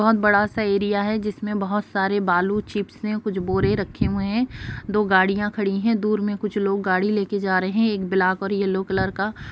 बोहत बड़ा सा एरिया है जिसमे बोहत सारे बालू चिप्स है कुछ बोरे रखे हुए है दो गाडिया खड़ी है दूर में कुछ लोग गाडी लेके जा रहे है एक ब्लाक और येलो कलर का--